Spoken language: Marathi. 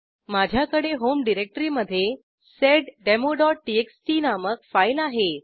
माझ्याकडे होम डिरेक्टरीमधे seddemoटीएक्सटी नामक फाईल आहे